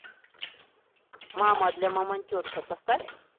мама для мамонтенка поставь